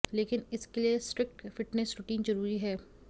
लेकिन इसके लिए स्ट्रिक्ट फिटनेस रूटीन जरूरी है